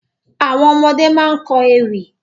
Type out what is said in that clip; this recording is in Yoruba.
Àwọn ọmọdé ma kọ́ ewì